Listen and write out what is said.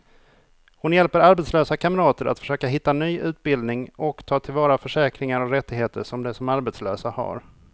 Hon hjälper arbetslösa kamrater att försöka hitta ny utbildning och ta till vara försäkringar och rättigheter som de som arbetslösa har.